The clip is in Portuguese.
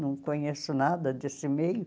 Não conheço nada desse meio.